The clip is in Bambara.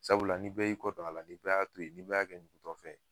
Sabula ni bɛɛ y'i kɔ a la ni bɛɛ y'a to yen ni bɛɛ y'a kɛ ɲugutɔfɛn ye